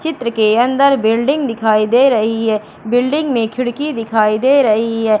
चित्र के अंदर बिल्डिंग दिखाई दे रही है बिल्डिंग में खिड़की दिखाई दे रही है।